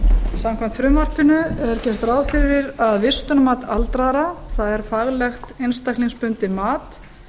samkvæmt frumvarpinu er gert ráð fyrir að vistunarmat aldraðra það er faglegt einstaklingsbundið mat